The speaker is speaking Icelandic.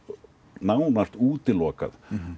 nánast útilokað